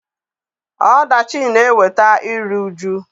Ọdachi na-eweta iri uju.